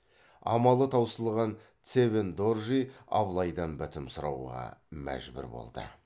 амалы таусылған цевен доржи абылайдан бітім сұрауға мәжбүр болды